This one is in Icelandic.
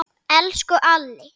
Elsku Alli.